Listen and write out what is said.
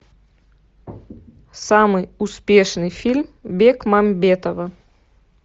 самый успешный фильм бекмамбетова